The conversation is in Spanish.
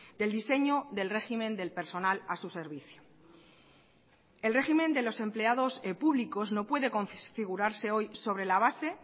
del diseño del régimen del personal a su servicio el régimen de los empleados públicos no puede configurarse hoy sobre la base